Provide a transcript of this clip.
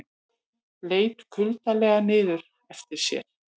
Leit kuldalega niður eftir sér.